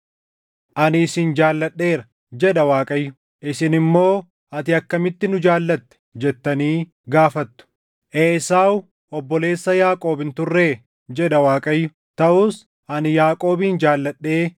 “Ani isin jaalladheera” jedha Waaqayyo. “Isin immoo, ‘Ati akkamitti nu jaallatte?’ jettanii gaafattu. “Esaawu obboleessa Yaaqoob hin turree?” jedha Waaqayyo. “Taʼus ani Yaaqoobin jaalladhee,